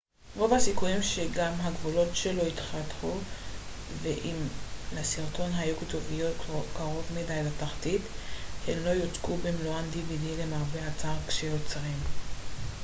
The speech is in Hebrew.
למרבה הצער כשיוצרים dvd רוב הסיכויים שגם הגבולות שלו ייחתכו ואם לסרטון היו כתוביות קרוב מדי לתחתית הן לא יוצגו במלואן